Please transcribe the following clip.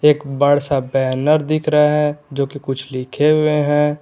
एक बड़ सा बैनर दिख रहा है जो कि कुछ लिखे हुए हैं।